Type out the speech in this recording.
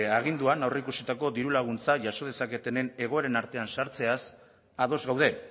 aginduan aurreikusitako diru laguntza jaso dezaketen egoeren artean sartzeaz ados gaude